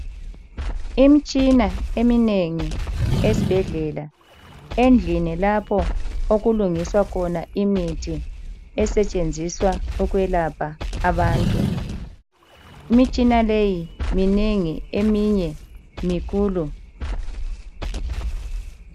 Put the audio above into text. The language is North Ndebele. Imitshina eminengi esibhedlela, endlini lapho okulungiswa khona imithi esetshenziswa ukwelapha abantu. Imitshina le minengi eminye mikhulu.